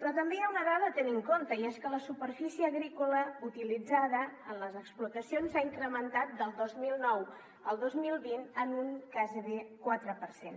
però també hi ha una dada a tenir en compte i és que la superfície agrícola utilitzada en les explotacions s’ha incrementat del dos mil nou al dos mil vint en un gairebé quatre per cent